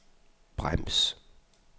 brems